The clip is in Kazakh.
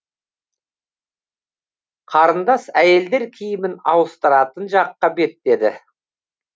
қарындас әйелдер киімін ауыстыратын жаққа беттеді